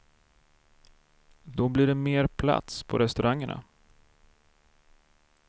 Då blir det mer plats på restaurangerna.